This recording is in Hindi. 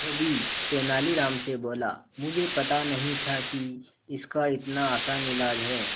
धोबी तेनालीराम से बोला मुझे पता नहीं था कि इसका इतना आसान इलाज है